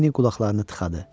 Lenninin qulaqlarını tıxadı.